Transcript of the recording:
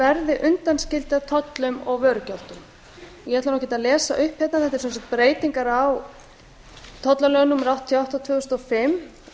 verði undanskildar tollum og vörugjöldum ég ætla nú ekkert að lesa upp hérna þetta eru breytingar á tollalögum númer áttatíu og átta tvö þúsund og